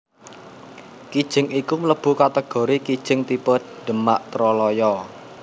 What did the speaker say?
Kijing iku mlebu kategori kijing tipe Demak Troloyo